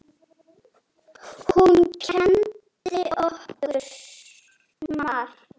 Hún kenndi okkur margt.